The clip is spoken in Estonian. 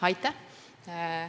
Aitäh!